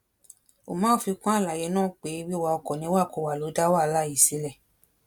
umar fi kún àlàyé náà pé wíwa ọkọ níwàkuwà ló dá wàhálà yìí sílẹ